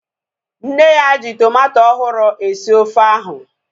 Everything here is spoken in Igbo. Nne ya ji tomato ọhụrụ esi ofe ahu